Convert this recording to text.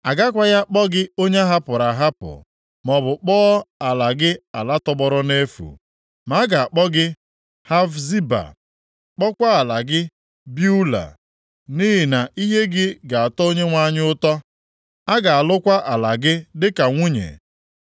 A gakwaghị akpọ gị onye ahapụrụ ahapụ, maọbụ kpọọ ala gị ala tọgbọrọ nʼefu. Ma a ga-akpọ gị Hefziba, kpọkwa ala gị Beula, nʼihi na ihe gị ga-atọ Onyenwe anyị ụtọ, a ga-alụkwa ala gị dịka nwunye.